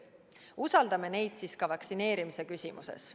Usaldame neid siis ka vaktsineerimise küsimuses.